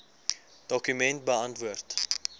dokument beantwoord